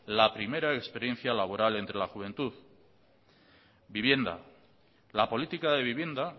la primera experiencia laboral entre la juventud vivienda la política de vivienda